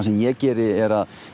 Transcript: sem ég geri er að